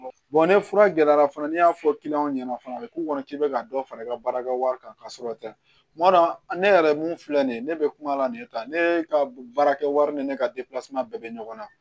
ni fura gɛlɛyara fana n'i y'a fɔ ɲɛna fana a bɛ k'u kɔnɔ k'i bɛ ka dɔ fara i ka baarakɛ wari kan ka sɔrɔ tɛ kuma dɔn ne yɛrɛ min filɛ nin ye ne bɛ kuma la nin kan ne ka baarakɛwari ni ne ka bɛɛ bɛ ɲɔgɔn na